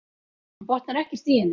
Hann botnar ekkert í henni.